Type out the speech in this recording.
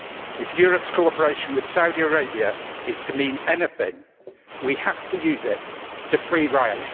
If Europe's cooperation with Saudi Arabia is to mean anything, we have to use it to free Raif.